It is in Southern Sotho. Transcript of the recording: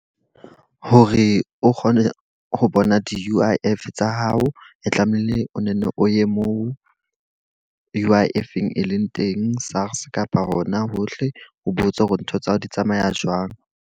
Hore o kgone ho bona di-U_I_F tsa hao. E tlamehile o nenne o ye moo U_I_I-eng e leng teng, SARS kapa hona hohle. O botse hore ntho tsa hao di tsamaya jwang.